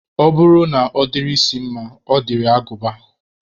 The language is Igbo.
Ọ bụrụ na ọ dịrị isi mma, ọ dịrị agụba